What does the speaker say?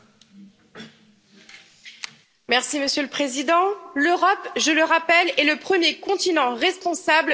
Monsieur le Président, l'Europe, je le rappelle, est le premier continent responsable de la déforestation importée.